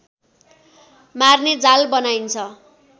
मार्ने जाल बनाइन्छ